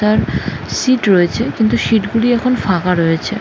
তার সিট রয়েছে কিন্তু সিট গুলি এখন ফাঁকা রয়েছে--